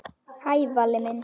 Hæ, Valli minn.